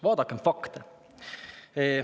Vaadakem fakte.